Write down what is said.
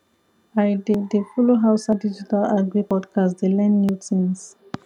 i dey dey follow hausa digital agri podcast dey learn new tins